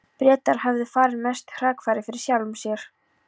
Bretar höfðu farið mestu hrakfarir fyrir sjálfum sér.